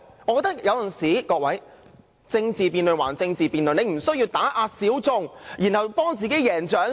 我認為政治辯論歸政治辯論，他無須打壓小眾為自己贏取掌聲。